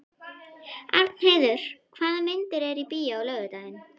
Arnheiður, hvaða myndir eru í bíó á laugardaginn?